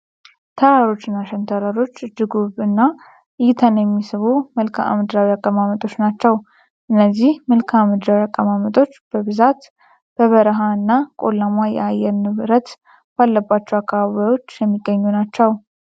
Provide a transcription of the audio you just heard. ተራሮች እና ሸንተረሮች እጅ ውብ እና እይታን የሚስቡ መልካ ምድራዊ አቀማመጦች ናቸው። እነዚህ መልካ ምድራዊ አቀማመጦች በብዛት በበረሃ እና ቆላማ የአየር ንብረት ባለባቸው አካባቢዎች የሚገኙ ናቸው።